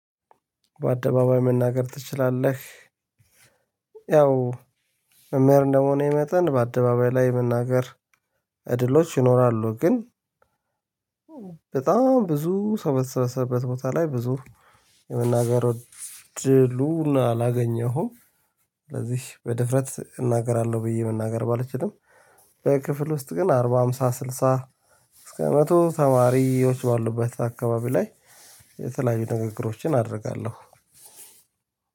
በአደባባይ መናገር ትችላለህ? በጣም ብዙ በተሰበሰበበት ቦታ ላይ ብዙ የመናገር እድሉ አላገኘሁም። ስለዚህ በድፍረት እናገራለሁ ብዬ መናገር ባልችልም ክፍል ውስጥ ግን አርባ ሃምሳ ስልሳ እስከ መቶ ተማሪዎች ባሉበት አካባቢ ላይ። የተለያዩ ንግግሮችን አደርጋለሁ።